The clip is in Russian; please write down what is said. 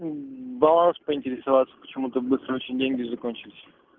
баланс поинтересоваться почему ты быстро деньги закончились